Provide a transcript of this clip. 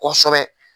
Kosɛbɛ